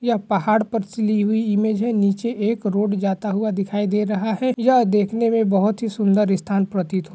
यह पहाड़ पर से ली हुई इमेज है। नीचे एक रोड जाता हुआ दिखाई दे रहा है। यह देखने में बहोत ही सुंदर स्थान प्रतीत--